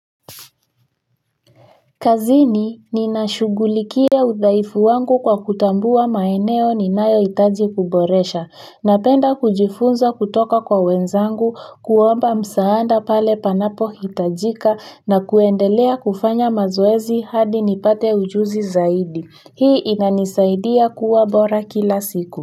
Kazini ninashughulikia uthaifu wangu kwa kutambua maeneo ninayo hitaji kuboresha napenda kujifunza kutoka kwa wenzangu kuomba msaada pale panapo hitajika na kuendelea kufanya mazoezi hadi nipate ujuzi zaidi hii inanisaidia kuwa bora kila siku. Kwa hivyo.